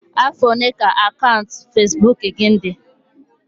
Afọ ole ka akaụntụ Facebook gị dị?